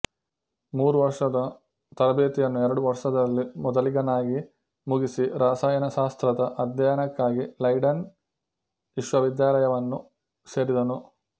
ಮೂರು ವರ್ಷದ ತರಬೇತಿಯನ್ನು ಎರಡು ವರ್ಷದಲ್ಲಿ ಮೊದಲಿಗನಾಗಿ ಮುಗಿಸಿ ರಾಸಾಯನಶಾಸ್ತ್ರದ ಅಧ್ಯಯನಕ್ಕಾಗಿ ಲೈಡೆನ್ ವಿಶ್ವವಿದ್ಯಾಲಯವನ್ನು ಸೇರಿದನು